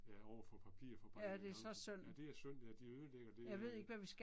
Ja overfor papirfabrikken derude. Ja det er syndt ja de ødelægger det øh